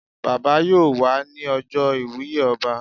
Bàbá yóò wà ní ọjọ́ iwùye ọba